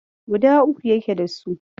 Guda uku yake dasu.